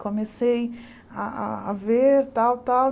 Comecei a a a ver tal, tal.